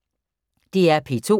DR P2